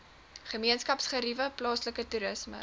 gemeenskapsgeriewe plaaslike toerisme